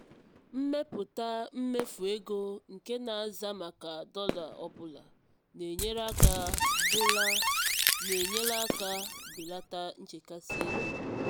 ịmepụta mmefu ego nke na-aza maka dọla ọ bụla na-enyere aka bụla na-enyere aka belata nchekasị ego.